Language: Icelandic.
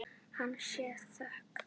Henni sé þökk.